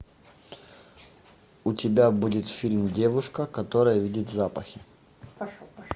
у тебя будет фильм девушка которая видит запахи